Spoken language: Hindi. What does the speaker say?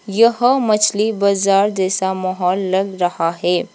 यह मछली बाजार जैसा माहौल लग रहा है।